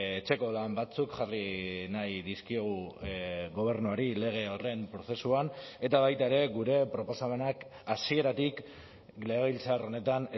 etxeko lan batzuk jarri nahi dizkiogu gobernuari lege horren prozesuan eta baita ere gure proposamenak hasieratik legebiltzar honetan